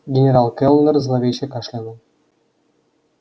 генерал кэллнер зловеще кашлянул